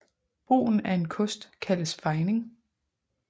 Brugen af en kost kaldes fejning